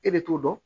E bɛ t'o dɔn